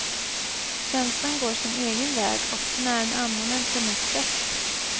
Känslan går sin egen väg, och den är en annan än förnuftets.